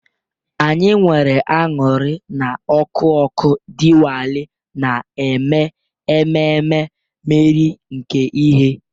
Anyị nwere aṅụrị na ọkụ ọkụ Diwali, na-eme ememe mmeri nke ìhè.